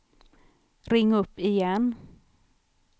ring upp igen